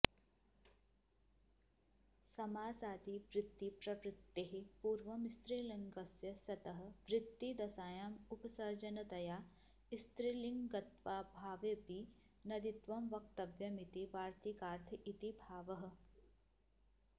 समासादिवृत्तिप्रवृत्तेः पूर्वं स्त्रीलिङ्गस्य सतः वृत्तिदशायामुपसर्जनतया स्त्रीलिङ्गत्वाऽभावेऽपी नदीत्वं वक्तव्यमिति वार्तिकार्थ इति भावः